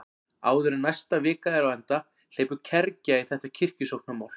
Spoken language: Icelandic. Áður en næsta vika er á enda hleypur kergja í þetta kirkjusóknarmál.